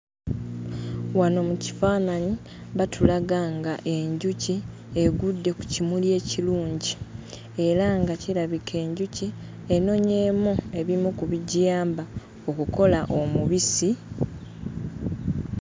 Wano mu kifaananyi batulaga ng'enjuki egudde ku kimuli ekirungi era nga kirabika enjuki enonyeemu ebimu ku bigiyamba okukola omubisi.